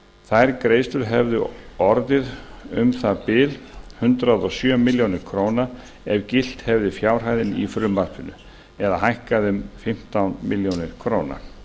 þær greiðslur hefðu orðið um það bil hundrað og sjö milljónir króna ef fjárhæðin í frumvarpinu hefði gilt hún hefði hækkað um fimmtán milljónir króna